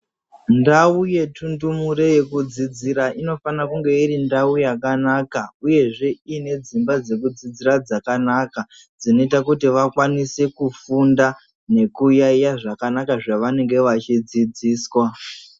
Ndau yetundumure yekudzidzira inofana kunge iri ndau yakanaka uyezve iine dzimba dzekudzidzira dzakanaka dzinoita kuti vakwanise kufunda nekuyaiya zvakanaka zvavanenge vachidzidziswa.